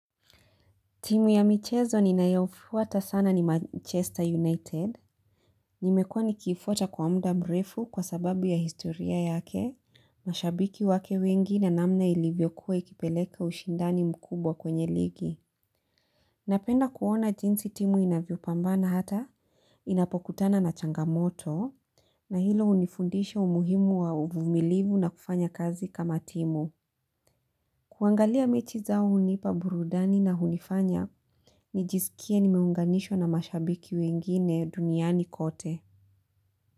Timu ya michezo ninayofuata sana ni Manchester United. Nimekuwa nikiifuata kwa muda mrefu kwa sababu ya historia yake. Mashabiki wake wengi na namna ilivyokuwa ikipeleka ushindani mkubwa kwenye ligi. Napenda kuona jinsi timu inavyopambana hata. Inapokutana na changamoto. Na hilo hunifundisha umuhimu wa uvumilivu na kufanya kazi kama timu. Kuangalia mechi zao hunipa burudani na hunifanya. Nijisikie nimeunganishwa na mashabiki wengine duniani kote.